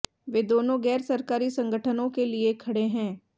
वे दोनों गैर सरकारी संगठनों के लिए खड़े हैं